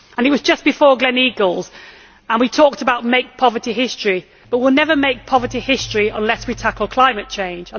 It was just before Gleneagles, and we talked about Make Poverty History' but we will never make poverty history unless we tackle climate change.